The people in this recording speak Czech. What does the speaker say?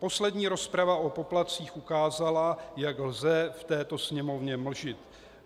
Poslední rozprava o poplatcích ukázala, jak lze v této Sněmovně mlžit.